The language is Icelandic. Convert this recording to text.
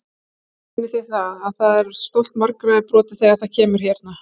Heimir: Finnið þið það að, að stolt margra er brotið þegar það kemur hérna?